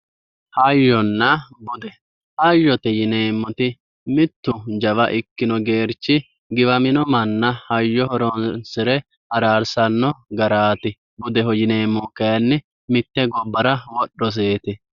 hayyonna bude hayyote yineemmoti mittu jawa ikkino geerchi giwamino manna hayyo horonsire araarsanno garaati budeho yineemmohu kayiinni mitte gobbara wodhoseeti.